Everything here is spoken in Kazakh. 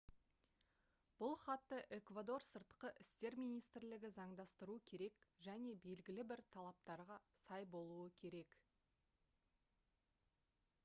бұл хатты эквадор сыртқы істер министрлігі заңдастыруы керек және белгілі бір талаптарға сай болуы керек